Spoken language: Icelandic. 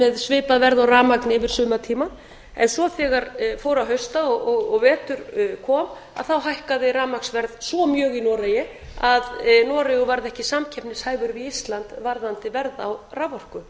með svipað verð á rafmagni yfir sumartímann en svo þegar fór að hausta og vetur kom að þá hækkaði rafmagnsverð svo mjög í noregi að noregur varð ekki samkeppnishæfur við ísland varðandi verð á raforku